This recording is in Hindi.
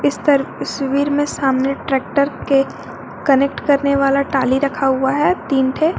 इस पर तस्वीर में सामने ट्रैक्टर के कनेक्ट करने वाला टाली रखा हुआ है तीन थे।